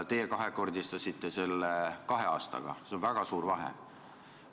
Teie kahekordistasite selle kahe aastaga, see on väga suur vahe.